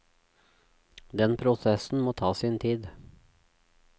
Den prosessen må ta sin tid.